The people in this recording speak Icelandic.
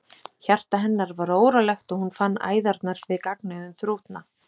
Hjarta hennar var órólegt og hún fann æðarnar við gagnaugun þrútna.